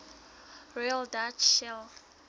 royal dutch shell